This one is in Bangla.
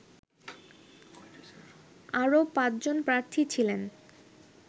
আরও পাঁচজন প্রার্থী ছিলেন